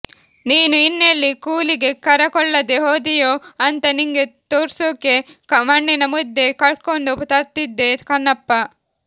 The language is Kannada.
ನೀನು ಇನ್ನೆಲ್ಲಿ ಕೂಲಿಗೆ ಕರಕೊಳ್ಳದೆ ಹೋದಿಯೊ ಅಂತ ನಿಂಗೆ ತೋರ್ಸುಕೆ ಮಣ್ಣಿನ ಮುದ್ದೆ ಕಟ್ಕೊಂಡು ತತ್ತಿದ್ದೆ ಕನಪ್ಪ